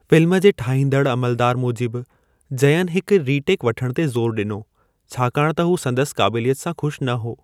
Film जे ठाहींदड़ अमलदारु मूजिबि, जयन हिक रीटेक वठणु ते ज़ोर ॾिनो छाकाणि त हू संदसि काबिलियत सां ख़ुशि न हो।